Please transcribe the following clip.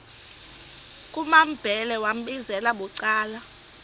kumambhele wambizela bucala